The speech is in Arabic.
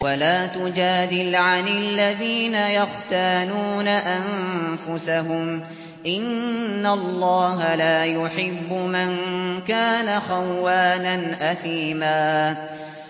وَلَا تُجَادِلْ عَنِ الَّذِينَ يَخْتَانُونَ أَنفُسَهُمْ ۚ إِنَّ اللَّهَ لَا يُحِبُّ مَن كَانَ خَوَّانًا أَثِيمًا